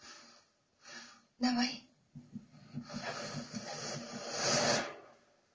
давай